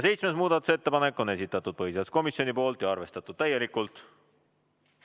Seitsmenda muudatusettepaneku on esitanud põhiseaduskomisjon ja see on arvestatud täielikult.